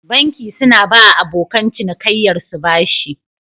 Banki suna bawa abokan cinikaiyar su bashi